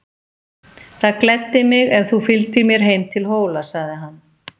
Það gleddi mig ef þú fylgdir mér heim til Hóla, sagði hann.